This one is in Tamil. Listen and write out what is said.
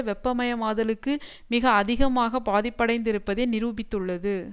வெப்பமயமாதலுக்கு மிக அதிகமாக பாதிப்படைந்திருப்பதை நிரூபித்துள்ளது